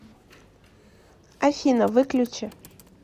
афина выключи